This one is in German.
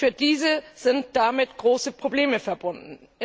Für diese sind damit große Probleme verbunden.